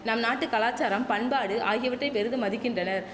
நம் நாட்டு கலாசாரம் பண்பாடு ஆகியவற்றை பெரிதும் மதிக்கின்றனர்